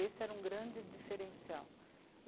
Esse era um grande diferencial.